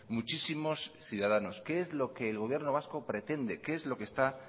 muchísimos ciudadanos qué es lo que el gobierno vasco pretende qué es lo que está